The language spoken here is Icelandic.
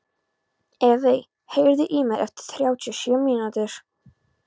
Evey, heyrðu í mér eftir þrjátíu og sjö mínútur.